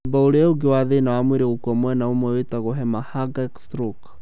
Mũthemba ũrĩa ũngĩ wa thĩna wa mwĩrĩ gũkua mwena ũmwe wĩtagwo hemorrhagic stroke.